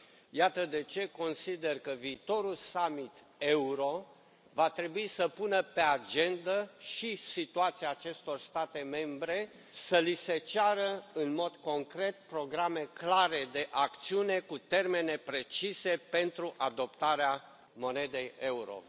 Iată de ce consider că viitorul summit euro va trebui să pună pe agendă și situația acestor state membre, să li se ceară, în mod concret, programe clare de acțiune, cu termene precise pentru adoptarea monedei euro.